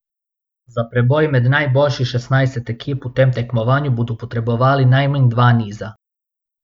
Za preboj med najboljših šestnajst ekip v tem tekmovanju bodo potrebovali najmanj dva niza.